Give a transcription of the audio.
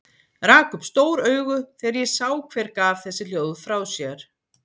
Rak upp stór augu þegar ég sá hver gaf þessi hljóð frá sér.